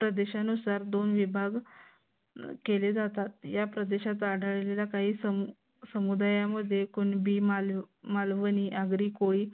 प्रदेशानुसार दोन विभाग केले जातात. या प्रदेशात आढळलेल्या काही समुदायामध्ये कुणबी मालवणी आगरी कोळी